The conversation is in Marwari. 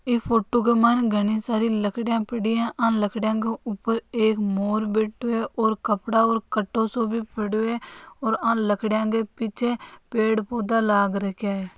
इस फोटो के माये घणी सारी लकडिया पड़ी है और लकड़ी के ऊपर एक मोर बैठो है और कपड़ा और कटो सो पड़ो है और लकड़ियाँ पीछे पेड़ पोधा भी लाग राखा है।